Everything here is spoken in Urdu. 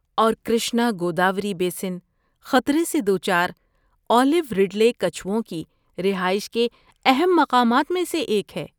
اور کرشنا گوداوری بیسن خطرے سے دوچار اولیو رڈلے کچھوؤں کی رہائش کے اہم مقامات میں سے ایک ہے